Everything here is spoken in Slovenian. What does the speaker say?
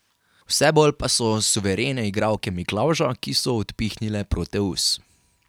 Vse bolj pa so suverene igralke Miklavža, ki so odpihnile Proteus.